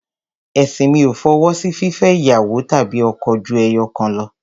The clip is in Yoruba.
Ẹ̀sìn mi ò fọwọ́ sí fífẹ́ ìyàwó tàbí ọkọ ju ẹyọ̀kan lọ.